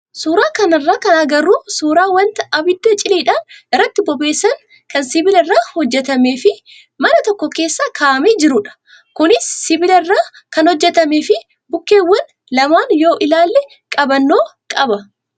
Suuraa kanarraa kan agarru suuraa wanta abidda cileedhaan irratti bobeessan kan sibiila irraa hojjatamee fi mana tokko keessa kaa'amee jirudha. Kunis sibiila irraa kan hojjatamee fi bukkeewwan lamaan yoo ilaallee qabannoo qaba.